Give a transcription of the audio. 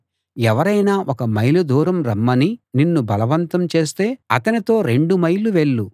ఎవరైనా ఒక మైలు దూరం రమ్మని నిన్ను బలవంతం చేస్తే అతనితో రెండు మైళ్ళు వెళ్ళు